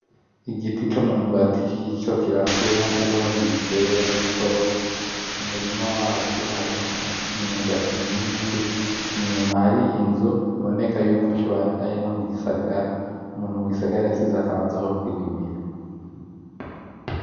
Igiti c'umwumbati kikiriko kirakura ariho bakigitera gitoyi, umurima wavyo harimwo imyumbati myinshi , inyuma hari inzu biboneka ko arino mugisagara , umuntu mugisagara yashize akabanza ko kwirimira .